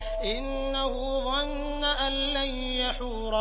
إِنَّهُ ظَنَّ أَن لَّن يَحُورَ